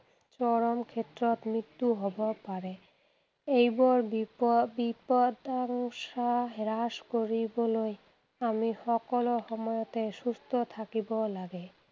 চৰম ক্ষেত্ৰত মৃত্যু হʼব পাৰে। এইবোৰ বিপদাংশা হ্ৰাস কৰিবলৈ আমি সকলো সময়তে সুস্থ থাকিব লাগে।